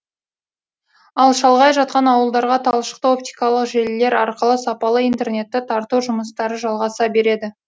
ал шалғай жатқан ауылдарға талшықты оптикалық желілер арқылы сапалы интернетті тарту жұмыстары жалғаса береді